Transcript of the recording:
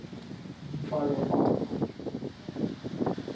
dipalopalo